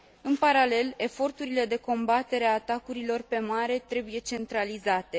În paralel, eforturile de combatere a atacurilor pe mare trebuie centralizate.